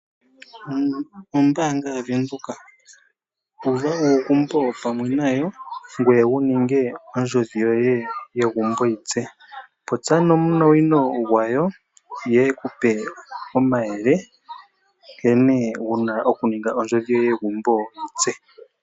Ombaanga yaVenduka Uva uugumbo pamwe nayo, ngoye wu ninge ondjodhi yoye yegumbo yi tse. Popya nomunawino gwayo ye eku pe omayele nkene wu na okuninga ondjodhi yoye yegumbo yi tse.